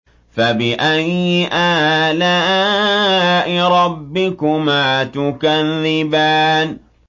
فَبِأَيِّ آلَاءِ رَبِّكُمَا تُكَذِّبَانِ